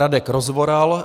Radek Rozvoral -